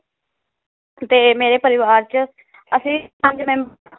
ਤੇ ਮੇਰੇ ਪਰਿਵਾਰ ਚ ਅਸੀ ਪੰਜ ਮੈਂ~